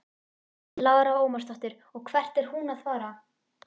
Lára Ómarsdóttir: Og hvert er hún að fara?